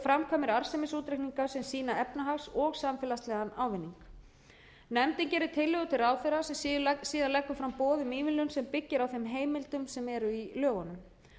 framkvæmir arðsemisútreikninga sem sýna efnahags og samfélagslegan ávinning nefndin gerir tillögur til ráðherra sem síðan leggur fram boð um ívilnun sem byggir á þeim heimildum sem eru í lögunum